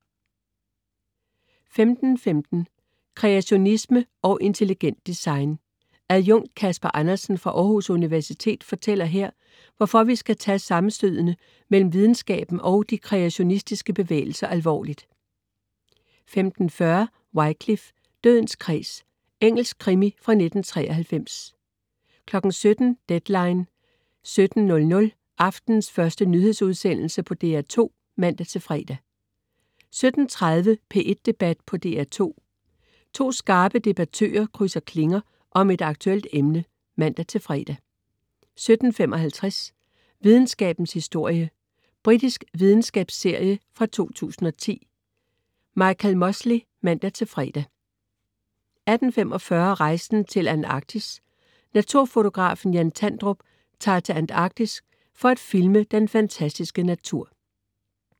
15.15 Kreationisme og intelligent design. Adjunkt Casper Andersen fra Aarhus Universitet fortæller her, hvorfor vi skal tage sammenstødene mellem videnskaben og de kreationistiske bevægelser alvorligt 15.40 Wycliffe: Dødens kreds. Engelsk krimi fra 1993 17.00 Deadline 17.00. Aftenens første nyhedsudsendelse på DR2 (man-fre) 17.30 P1 Debat på DR2. To skarpe debattører krydse klinger om et aktuelt emne (man-fre) 17.55 Videnskabens historie. Britisk videnskabsserie fra 2010. Michael Mosley (man-fre) 18.45 Rejsen til Antarktis. Naturfotografen Jan Tandrup tager til Antarktis for at filme den fantastiske natur